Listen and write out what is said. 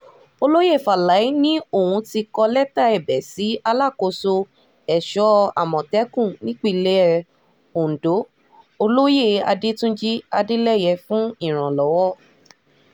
olóyè faláé ni òun ti kọ lẹ́tà ẹ̀bẹ̀ sí alákòóso èso àmọ̀tẹ́kùn nípìnlẹ̀ ọ̀dọ́ olóyè adẹ́túnjì adeleye fún ìrànlọ́wọ́